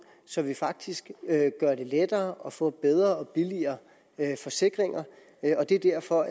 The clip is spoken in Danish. så vi faktisk gør det lettere at få bedre og billigere forsikringer og det er derfor